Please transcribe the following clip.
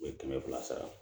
U ye kɛmɛ fila sara